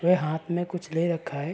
वे हाथ में कुछ ले रखा है।